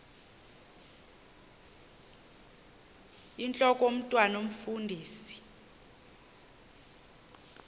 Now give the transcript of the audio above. intlok omntwan omfundisi